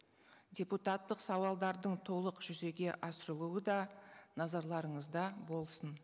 депутаттық сауалдардың толық жүзеге асырылуы да назарларыңызда болсын